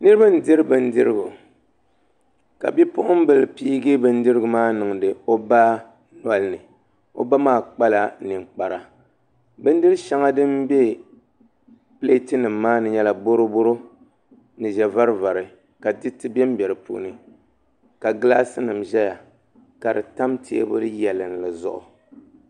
Niraba n diri bindirigu ka bipuɣunbili pii bindirigu maa niŋdi o ba nolini o ba maa kpala ninkpara bindiri shɛŋa din bɛ pileet nim maa ni nyɛla boroboro ni ʒɛ varivari ka diriti bɛnbɛ di puuni ka gilaas nim ʒɛya ka bi tam teebuli yɛlli zuɣu